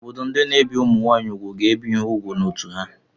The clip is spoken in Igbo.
Obodo ndị na-ebi ụmụ nwaanyị úgwù ga-ebi ha ùgwù n'ọ́tụ̀ ha.